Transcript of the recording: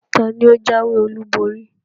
Taàní ó jáwé olú borí?